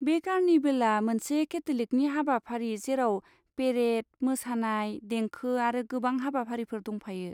बे कार्निभेलआ मोनसे केथलिकनि हाबाफारि जेराव पेरेड, मोसानाय, देंखो आरो गोबां हाबाफारिफोर दंफायो।